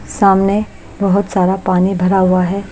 सामने बहोत सारा पानी भरा हुआ है।